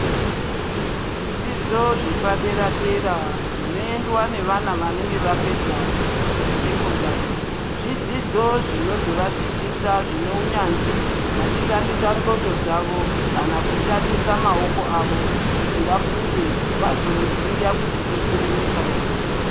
Zvidzidzo zvepadera dera zvinondwa ngevana vapedza sekondari zvidzidzo zvino zovadzidzisa zvine unyanzvi vachishandisa nxondo dzavo kana kushandisa maoko avo kuti vafunde vazouya kuzodetsera nyika yavo.